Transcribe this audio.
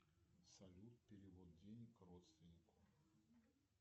салют перевод денег родственнику